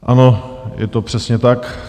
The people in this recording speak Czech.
Ano, je to přesně tak.